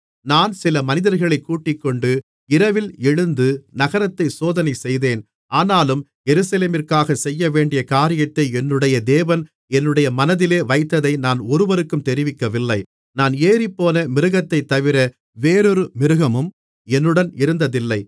நான் சில மனிதர்களைக் கூட்டிக்கொண்டு இரவில் எழுந்து நகரத்தைச் சோதனை செய்தேன் ஆனாலும் எருசலேமிற்காகச் செய்யவேண்டிய காரியத்தை என்னுடைய தேவன் என்னுடைய மனதிலே வைத்ததை நான் ஒருவருக்கும் தெரிவிக்கவில்லை நான் ஏறிப்போன மிருகத்தைத் தவிர வேறொரு மிருகமும் என்னுடன் இருந்ததில்லை